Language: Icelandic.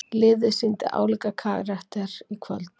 Liðið sýndi álíka karakter í kvöld.